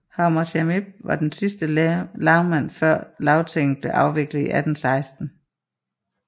Hammershaimb var den sidste lagmand før Lagtinget blev afviklet i 1816